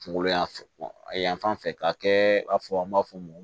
Kunkolo yanfan yan fan fɛ ka kɛ i b'a fɔ an b'a fɔ mun ma